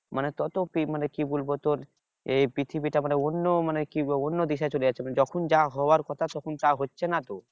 মানে তো তো কি বলবো তোর এই পৃথিবীটা মানে অন্য মানে অন্য দিশায় চলে যাচ্ছে মানে যখন যা হওয়ার কথা তখন তা হচ্ছে না তো